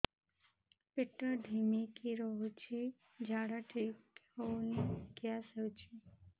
ପେଟ ଢିମିକି ରହୁଛି ଝାଡା ଠିକ୍ ହଉନି ଗ୍ୟାସ ହଉଚି